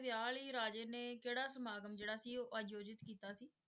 ਵਿਆਹ ਲਈ ਰਾਜੇ ਨੇ ਕਿਹੜਾ ਸਮਾਗਮ ਜਿਹੜਾ ਸੀ ਉਹ ਆਯੋਜਤ ਕੀਤਾ ਸੀ?